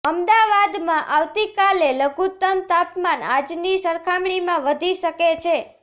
અમદાવાદમાં આવતીકાલે લઘુત્તમ તાપમાન આજની સરખામણીમાં વધી શકે છે